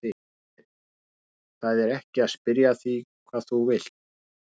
Heimir: Það er ekki að spyrja að því hvað þú vilt?